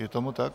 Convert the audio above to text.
Je tomu tak?